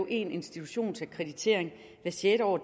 én institutionsakkreditering hvert sjette år